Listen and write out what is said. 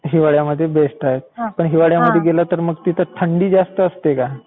हिवाळ्यामध्ये बेस्ट आहे. पण हिवाळ्यामध्ये गेला तर मग तिथे थंडी जास्त असते का?